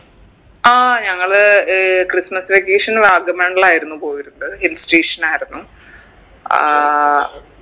ആ ഞങ്ങള് uh christmas vacation വാഗമൺലായിരുന്നു പോയിരുന്നത് hill station ആയിരുന്നു ഏർ